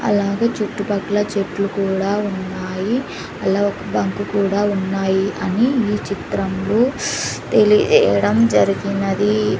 అలాగే చుట్టుపక్కల చెట్లు కూడా ఉన్నాయి అలాగే బంకు కూడా ఉన్నాయి అని ఈ చిత్రం లో తెలియజేయడం జరిగినది.